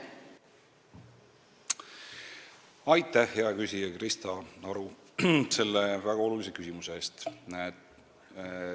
Aitäh, hea küsija Krista Aru, selle väga olulise küsimuse eest!